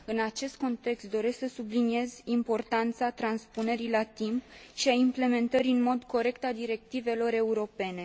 În acest context doresc să subliniez importanța transpunerii la timp și a implementării în mod corect a directivelor europene.